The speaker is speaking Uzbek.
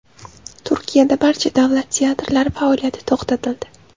Turkiyada barcha davlat teatrlari faoliyati to‘xtatildi.